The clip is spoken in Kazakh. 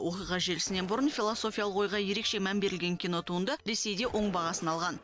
оқиға желісінен бұрын философиялық ойға ерекше мән берілген кинотуынды ресейде оң бағасын алған